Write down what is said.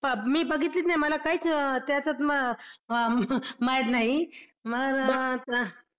मी बघितलीच नाही मला काहीच त्याच्यात माहित नाही.